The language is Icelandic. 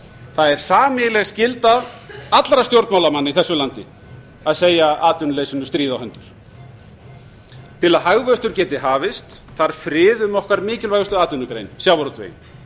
það er sameiginleg skylda allra stjórnmálamanna í þessu landi að segja atvinnuleysinu stríð á hendur til að hagvöxtur geti hafist þarf frið um okkar mikilvægustu atvinnugrein sjávarútveginn